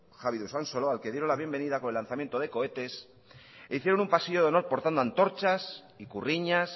javi de usansolo al que dieron la bienvenida con el lanzamiento de cohetes e hicieron un pasillo de honor portando antorchas ikurriñas